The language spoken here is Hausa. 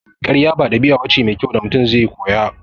Karya ba ɗabi'a bace mai kyau da Mutum zai koya